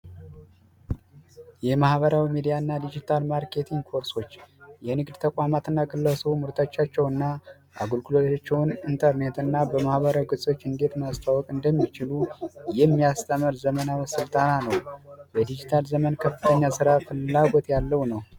የማህበራዊ ሚዲያና ዲጂታል ማርኬቲንግ ኮርሶች የንግድ ተቋማትና ግለሰቦች ምርቶቻቸውን አገልግሎታቸውን በኢንተርኔትና በማህበራዊ ማስተዋወቅ እንዴት እንደሚችሉ የሚያሳይ ዘመናዊ ስልጠና ነው በዲጂታል ዘመን ፍላጎት ያለው ነው።